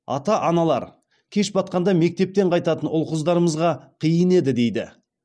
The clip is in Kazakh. ата аналар кеш батқанда мектептен қайтатын ұл қыздарымызға қиын еді дейді